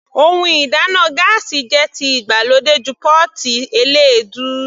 Ohun ìdáná gáásì jẹ́ ti ìgbàlódé ju pọ́ọ́tì eléèdú.